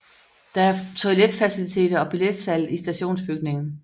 Der er toiletfaciliteter og billetsalg i stationsbygningen